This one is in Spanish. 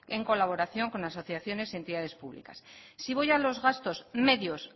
en colaboración con asociaciones y entidades públicas si voy a los gastos medios